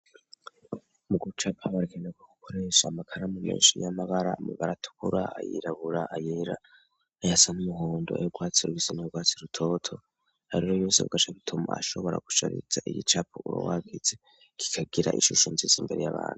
Mu guca abarekanaka gukora yeso amakara mu menshi y'amagara mabara tukura ayirabura ayira ayasa n'umuhondo ayo bwatsi r bisina ubwatsi rutoto ariro yose bgasaki tom ashobora gusharitza igicapa urwagitse kikagira ishusho nziza imbere y'abantu.